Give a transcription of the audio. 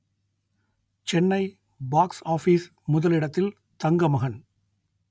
Chennai box office முதலிடத்தில் தங்கமகன்